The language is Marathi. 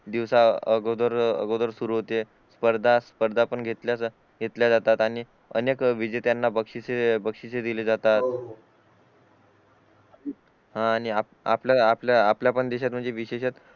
दिवस अगोदर सुरु होते स्पर्धा स्पर्धा पण घेतल्या जातात आणि अनेक विजेत्यांना बक्षिसे बक्षिसे दिले जातात हा आणि आपल्या आपल्या पण देहात विशेषक